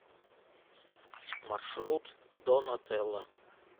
маршрут дон отелло